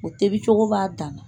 O tobicogo b'a dan na